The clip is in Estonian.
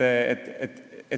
väheneb.